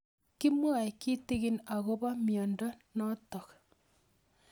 Kimwae kitig'in akopo miondo notok